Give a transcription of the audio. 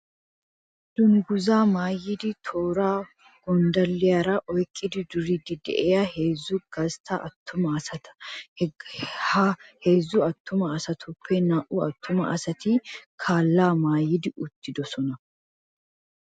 Dungguzzaa maayidi tooraara gonddalliyaara oyqqidi duriiddi de'iyaa heezzu gastta attuma asata. Ha heezzu attuma asatuppe naa'u attuma asati calaa maayi uttidosona.